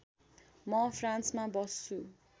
म फ्रान्समा बस्छु